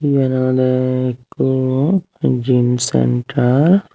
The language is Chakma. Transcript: eyen olode ikko gym centre.